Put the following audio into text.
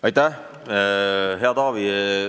Aitäh, hea Taavi!